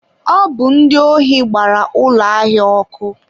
Ọ bụ ndị ohi gbara ụlọ ahịa ọ́kụ́.